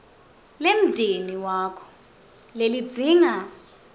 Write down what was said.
lemndeni wakho lelidzinga